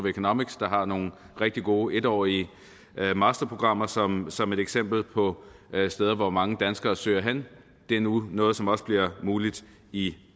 economics der har nogle rigtig gode en årige masterprogrammer som som et eksempel på steder hvor mange danskere søger hen det er nu noget som også bliver muligt i